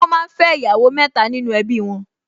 Wọ́n máa ń fẹ́ ìyàwó mẹ́ta nínú ẹbí wọn